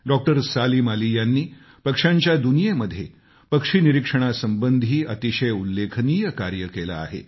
doctor Salim Ali यांनी पक्ष्यांच्या दुनियेमध्ये पक्षी निरीक्षणासंबंधी अतिशय उल्लेखनीय कार्य केलं आहे